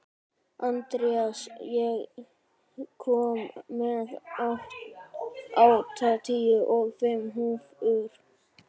Andreas, ég kom með áttatíu og fimm húfur!